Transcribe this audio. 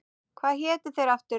Hvað hétu þeir aftur?